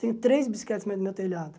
Tenho três bicicletas no meio do meu telhado.